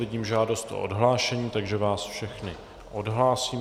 Vidím žádost o odhlášení, takže vás všechny odhlásím.